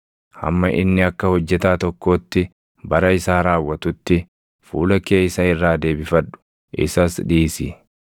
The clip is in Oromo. Hamma inni akka hojjetaa tokkootti bara isaa raawwatutti, fuula kee isa irraa deebifadhu; isas dhiisi.